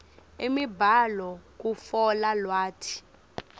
imibhalo kutfola lwati